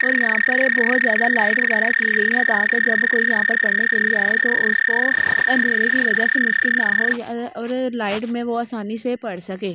और यहां पर बहोत ज्यादा लाइट वगैरा की गई है ताकि जब कोई यहां पर पढ़ने के लिए आए तो उसको अंधेरे की वजह से मुश्किल ना हो और लाइट में वो आसानी से पढ़ सके।